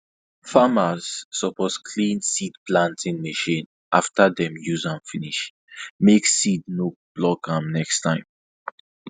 farmers suppose clean seed planting machine after dem use am finish make finish make seed no block am next time